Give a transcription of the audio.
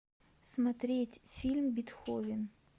смотреть фильм бетховен